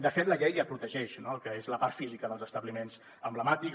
de fet la llei ja protegeix el que és la part física dels establiments emblemàtics